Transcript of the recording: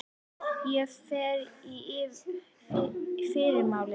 Ég fer í fyrramálið.